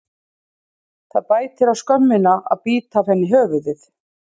Það bætir á skömmina að bíta af henni höfuðið.